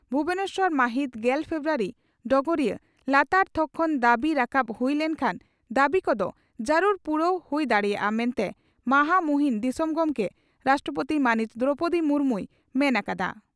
ᱵᱷᱩᱵᱚᱱᱮᱥᱚᱨ ᱢᱟᱦᱤᱛ ᱜᱮᱞ ᱯᱷᱮᱵᱨᱩᱣᱟᱨᱤ (ᱰᱚᱜᱚᱨᱤᱭᱟᱹ) ᱺ ᱞᱟᱛᱟᱨ ᱛᱷᱚᱠ ᱠᱷᱚᱱ ᱫᱟᱹᱵᱤ ᱨᱟᱠᱟᱵ ᱦᱩᱭ ᱞᱮᱱᱠᱷᱟᱱ ᱫᱟᱹᱵᱤ ᱠᱚᱫᱚ ᱡᱟᱹᱨᱩᱲ ᱯᱩᱨᱟᱹᱣ ᱦᱩᱭ ᱫᱟᱲᱮᱭᱟᱜᱼᱟ ᱢᱮᱱᱛᱮ ᱢᱟᱦᱟᱢᱩᱦᱤᱱ ᱫᱤᱥᱚᱢ ᱜᱚᱢᱠᱮ (ᱨᱟᱥᱴᱨᱚᱯᱳᱛᱤ) ᱢᱟᱹᱱᱤᱡ ᱫᱨᱚᱣᱯᱚᱫᱤ ᱢᱩᱨᱢᱩᱭ ᱢᱮᱱ ᱟᱠᱟᱫᱼᱟ ᱾